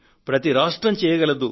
ప్రతి రాష్ట్రం చేయగలదు